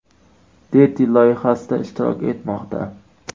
Deti” loyihasida ishtirok etmoqda.